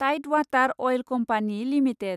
Tide Water Oil Company limited